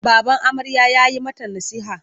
Baban amarya ya yi mata nasiha.